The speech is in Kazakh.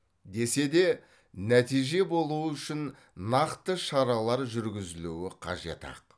десе де нәтиже болуы үшін нақты шаралар жүргізілуі қажет ақ